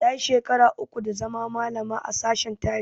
Tayi shekara uku da zama malama a sashen tarihi